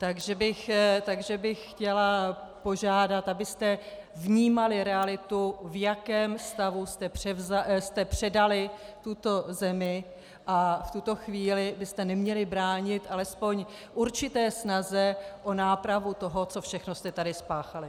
Takže bych chtěla požádat, abyste vnímali realitu, v jakém stavu jste předali tuto zemi, a v tuto chvíli byste neměli bránit alespoň určité snaze o nápravu toho, co všechno jste tady spáchali.